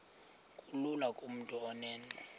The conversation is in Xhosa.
kulula kumntu onen